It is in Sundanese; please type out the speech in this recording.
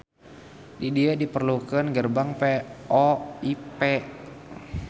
Di dieu diperlukeun gerbang VoIP.